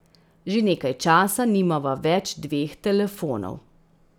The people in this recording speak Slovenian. Že nekaj časa nimava več dveh telefonov.